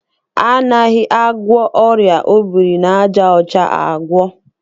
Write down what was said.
Anaghị agwọ ọrịa obiri n'aja ọcha agwọ.